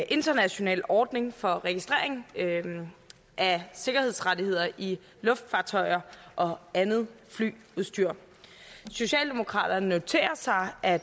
international ordning for registrering af sikkerhedsrettigheder i luftfartøjer og andet flyudstyr socialdemokraterne noterer sig at